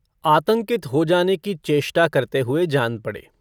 आतंकित हो जाने की चेष्टा करते हुए जान पड़े।